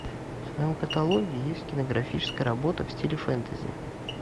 в твоем каталоге есть кинематографическая работа в стиле фэнтези